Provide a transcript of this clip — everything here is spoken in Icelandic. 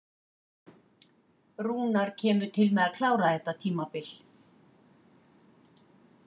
Rúnar kemur til með að klára þetta tímabil.